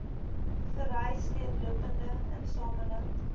vereis deurlopende insameling